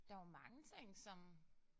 Der jo mange ting som